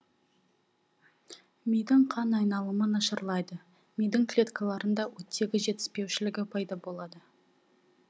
мидың қан айналымы нашарлайды мидың клеткаларында оттегі жетіспеушілігі пайда болады